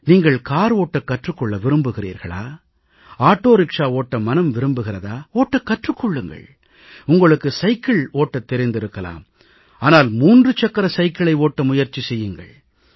நீங்கள் கார் ஓட்டக் கற்றுக் கொள்ள விரும்புகிறீர்களா ஆட்டோ ரிக்ஷா ஓட்ட மனம் விரும்புகிறதா ஓட்டக் கற்றுக் கொள்ளுங்கள் உங்களுக்கு சைக்கிள் ஓட்டத் தெரிந்திருக்கலாம் ஆனால் 3 சக்கர சைக்கிளை ஓட்ட முயற்சி செய்யுங்கள்